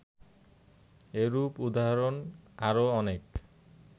এরূপ উদাহরণ আরও অনেক